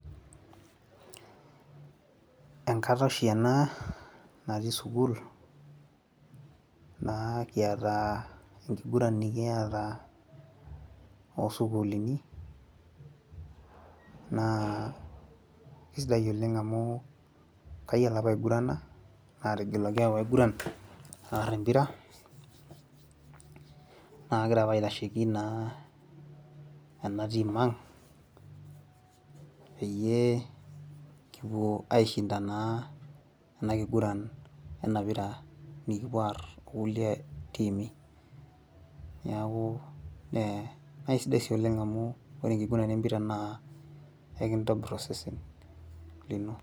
enkata oshi ena natii sukuul, na kiata enkiguran nikiata oo sukuulin. naa isidai oleng amu kayiolo apa aigurana. aategeluaki apa pee aiguran aar empira. naa kagira apa aitasheki naa ena team ang peyie kipuo aishinda naa ena kiguran ena pira naa nikipuo aar okulie tiimi. neeku eisidai sii oleng amu ore enkiguran empira na ekintobir osesen lino.